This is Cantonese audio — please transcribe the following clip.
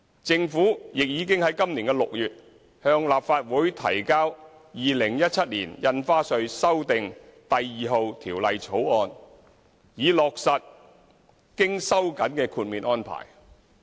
政府亦已在今年6月向立法會提交《2017年印花稅條例草案》，以落實經收緊的豁免安排。